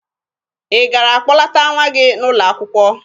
Ị gara kpọlata nwa gị n'ụlọ akwụkwọ?